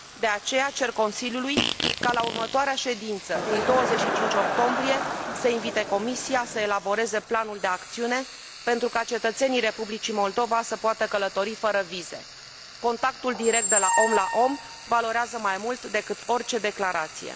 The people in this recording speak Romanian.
De aceea cer Consiliului ca la următoarea ședință, din 25 octombrie, să invite Comisia să elaboreze planul de acțiune pentru ca cetățenii Republicii Moldova să poată călători fără vize. Contactul direct de la om la om valorează mai mult decât orice declarație.